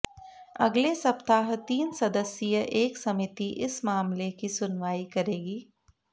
अगले सप्ताह तीन सदस्यीय एक समिति इस मामले की सुनवाई करेगी